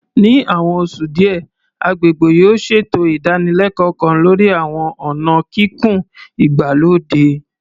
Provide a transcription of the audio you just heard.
Ní àwọn oṣù díẹ̀, agbègbè yóò ṣètò ìdánilẹ́kọ̀ọ́ kan lórí àwọn ọ̀nà kíkùn ìgbàlódé